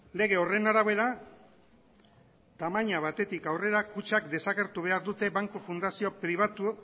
lege horren arabera tamaina batetik aurrera kutxak desagertu behar dute banku fundazio pribatu